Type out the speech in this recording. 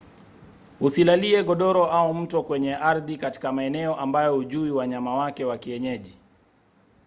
usilalie godoro au mto kwenye ardhi katika maeneo ambayo hujui wanyama wake wa kienyeji